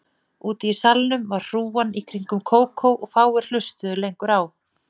Úti í salnum var hrúgan í kringum Kókó og fáir hlustuðu lengur á